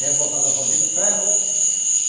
Rebocadorzão de ferro.